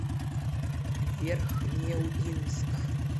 верхнеудинск